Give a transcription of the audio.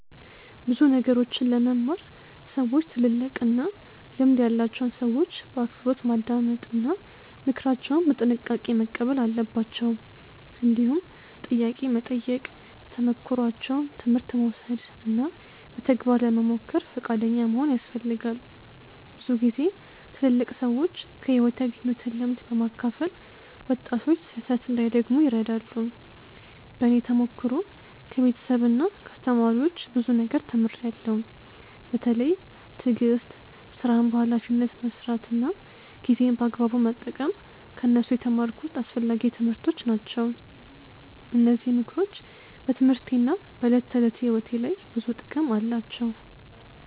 ብዙ ነገሮችን ለመማር ሰዎች ትልልቅና ልምድ ያላቸውን ሰዎች በአክብሮት ማዳመጥ እና ምክራቸውን በጥንቃቄ መቀበል አለባቸው። እንዲሁም ጥያቄ መጠየቅ፣ ከተሞክሯቸው ትምህርት መውሰድ እና በተግባር ለመሞከር ፈቃደኛ መሆን ያስፈልጋል። ብዙ ጊዜ ትልልቅ ሰዎች ከሕይወት ያገኙትን ልምድ በማካፈል ወጣቶች ስህተት እንዳይደግሙ ይረዳሉ። በእኔ ተሞክሮ ከቤተሰብና ከአስተማሪዎች ብዙ ነገር ተምሬያለሁ። በተለይ ትዕግስት፣ ሥራን በኃላፊነት መስራት እና ጊዜን በአግባቡ መጠቀም ከእነሱ የተማርኩት አስፈላጊ ትምህርቶች ናቸው። እነዚህ ምክሮች በትምህርቴና በዕለት ተዕለት ሕይወቴ ላይ ብዙ ጥቅም አላቸው።